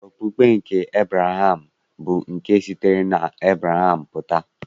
Okpukpe nke Ebraham bụ nke sitere n'Ebreham pụta.